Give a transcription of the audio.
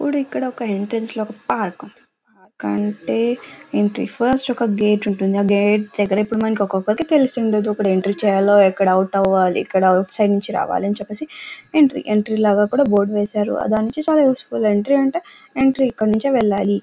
చూడు ఇక్కడ ఒక ఎంట్రన్స్ ఒక పార్క్ ఉంది. అంటే ఫస్ట్ ఒక గేట్ ఉంటుంది. ఆ గేట్ దగ్గర మనకిప్పుడు ఒక్కొక్కటి తెలిసుండదు. ఎప్పుడు ఎలాంటి చేయాలో ఎక్కడ అవుట్ సైడ్ అవాలి ఎక్కడ అవుట్ సైడ్ నుంచి రావాలో ఎంట్రీ లు లాగా బోర్డు వేశారు. దాన్ని నుంచి చాలా యూస్ ఫుల్ . ఎంట్రీ అంటే ఎంట్రీ ఇక్కడి నుంచే వెళ్లాలి.